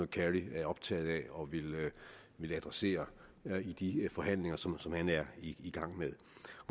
kerry er optaget af og vil adressere i de forhandlinger som som han er i gang med